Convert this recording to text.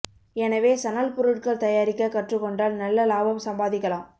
எனவே சணல் பொருட்கள் தயாரிக்க கற்றுக் கொண்டால் நல்ல லாபம் சம்பாதிக்கலாம்